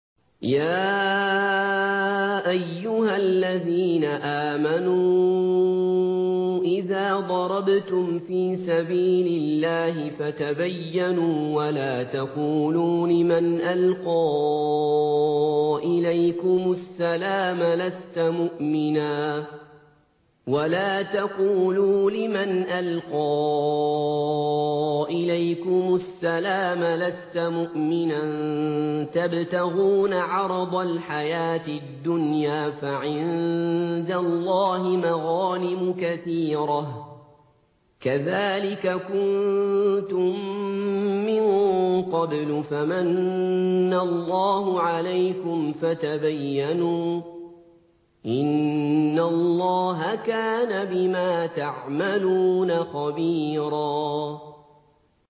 يَا أَيُّهَا الَّذِينَ آمَنُوا إِذَا ضَرَبْتُمْ فِي سَبِيلِ اللَّهِ فَتَبَيَّنُوا وَلَا تَقُولُوا لِمَنْ أَلْقَىٰ إِلَيْكُمُ السَّلَامَ لَسْتَ مُؤْمِنًا تَبْتَغُونَ عَرَضَ الْحَيَاةِ الدُّنْيَا فَعِندَ اللَّهِ مَغَانِمُ كَثِيرَةٌ ۚ كَذَٰلِكَ كُنتُم مِّن قَبْلُ فَمَنَّ اللَّهُ عَلَيْكُمْ فَتَبَيَّنُوا ۚ إِنَّ اللَّهَ كَانَ بِمَا تَعْمَلُونَ خَبِيرًا